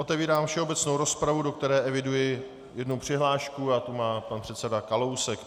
Otevírám všeobecnou rozpravu, do které eviduji jednu přihlášku, a tu má pan předseda Kalousek.